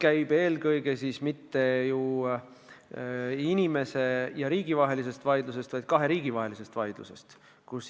Aga jutt ei käi mitte inimese ja riigi vahelisest vaidlusest, vaid eelkõige kahe riigi vahelisest vaidlusest.